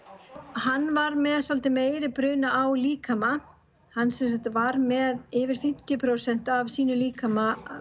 hann var með svolítið meiri bruna á líkama hann var með yfir fimmtíu prósent af sínum líkama